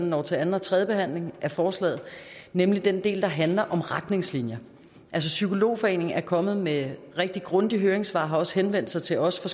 når til anden og tredje behandling af forslaget nemlig den del der handler om retningslinjer psykologforeningen er kommet med rigtig grundigt høringssvar og har også henvendt sig til os